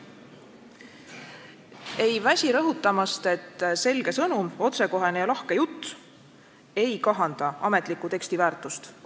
Me ei väsi rõhutamast, et selge sõnum, otsekohene ja lahke jutt ei kahanda ametliku teksti väärtust.